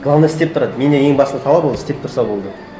главное істеп тұрады менен ең басты талап ол істеп тұрса болды